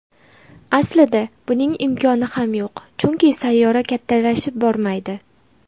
Aslida buning imkoni ham yo‘q, chunki sayyora kattalashib bormaydi.